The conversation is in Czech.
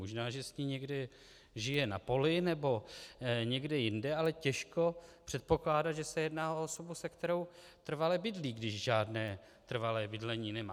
Možná že s ní někde žije na poli nebo někde jinde, ale těžko předpokládat, že se jedná o osobu, se kterou trvale bydlí, když žádné trvalé bydlení nemá.